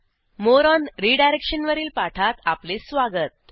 More on redirection वरील पाठात आपले स्वागत